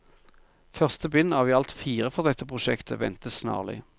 Første bind, av i alt fire fra dette prosjektet, ventes snarlig.